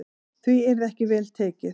Því yrði ekki vel tekið.